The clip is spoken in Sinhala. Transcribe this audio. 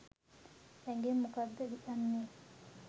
ඇඟෙන් මොකක්ද යන්නෙ?